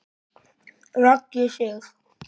Raggi Sig.